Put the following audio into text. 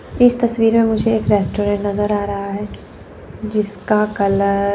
इस तस्वीर में मुझे एक रेस्टोरेंट नजर आ रहा है जिसका कलर --